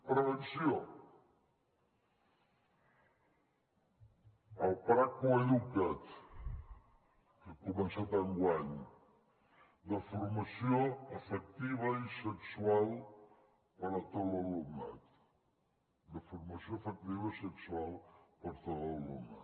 prevenció el pla coeduca’t que ha començat enguany de formació afectiva i sexual per a tot l’alumnat de formació afectiva i sexual per a tot l’alumnat